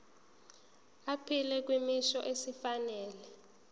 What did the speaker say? aphile kwisimo esifanele